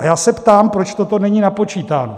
A já se ptám, proč toto není napočítáno.